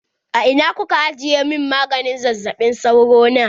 A ina kuka ajiye min maganin zazzaɓi sauro na?